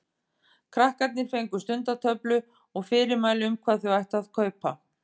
Krakkarnir fengu stundatöflu og fyrirmæli um hvað þau ættu að kaupa.